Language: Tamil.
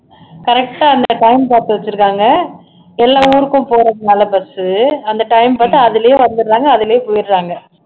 correct ஆ அந்த time பாத்து வச்சுருக்காங்க எல்லா ஊருக்கும் போறதுனால bus உ அந்த time பாத்து அதுலயே வந்துடுறாங்க அதுலயே போயிடுறாங்க